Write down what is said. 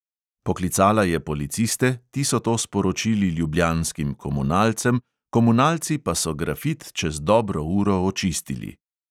Poklicala je policiste, ti so to sporočili ljubljanskim komunalcem, komunalci pa so grafit čez dobro uro očistili.